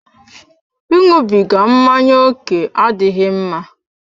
I ịṅụbiga mmanya ókè adịghị mma.